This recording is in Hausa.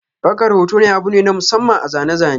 Daukar hoto abu ne na masamman a zane-zane.